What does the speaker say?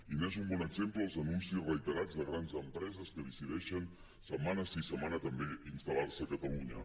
i en són un bon exemple els anuncis reiterats de grans empreses que decideixen setmana sí setmana també instal·lar se a catalunya